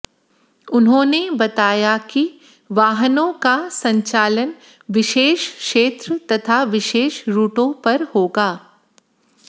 उन्होंने बताया कि वाहनों का संचालन विशेष क्षेत्र तथा विशेष रूटों पर होगा